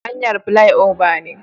Hanyar filai oba ne